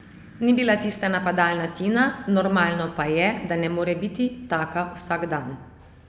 Ni bila tista napadalna Tina, normalno pa je, da ne more biti taka vsak dan.